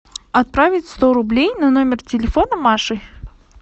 отправить сто рублей на номер телефона маши